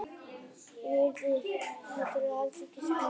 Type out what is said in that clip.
Ég yrði ekki einu sinni á hóteli heldur gistiheimili í jaðri bæjarins.